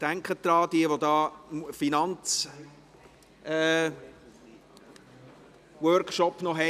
Denken Sie daran, falls Sie noch den Finanzworkshop besuchen: